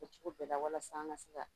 A kɛ cogo bɛɛ la walasa an ka se ka